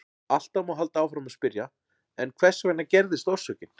Alltaf má halda áfram að spyrja: En hvers vegna gerðist orsökin?